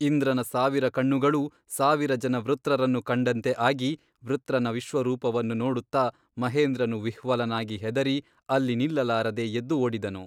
ಇಂದ್ರನ ಸಾವಿರ ಕಣ್ಣುಗಳೂ ಸಾವಿರ ಜನ ವೃತ್ರರನ್ನು ಕಂಡಂತೆ ಆಗಿ ವೃತ್ರನ ವಿಶ್ವರೂಪವನ್ನು ನೋಡುತ್ತ ಮಹೇಂದ್ರನು ವಿಹ್ವಲನಾಗಿ ಹೆದರಿ ಅಲ್ಲಿ ನಿಲ್ಲಲಾರದೆ ಎದ್ದು ಓಡಿದನು.